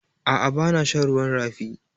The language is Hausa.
A'a, bana shan ruwan rafi.